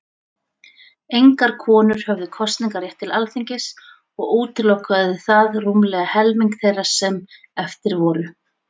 Engar konur höfðu kosningarétt til Alþingis, og útilokaði það rúmlega helming þeirra sem eftir voru.